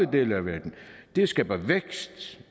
dele af verden det skaber vækst